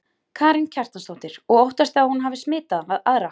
Karen Kjartansdóttir: Og óttastu að hún hafi smitað aðra?